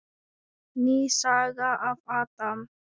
Ný saga af Adam.